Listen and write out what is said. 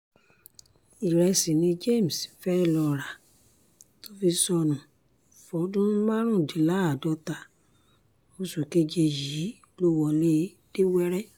ìrẹsì ni james fẹ́ẹ́ lọ́ọ́ rà tó fi sọnù fọ́dún márùndínláàádọ́ta oṣù keje yìí ló wọlé dé wẹ́rẹ́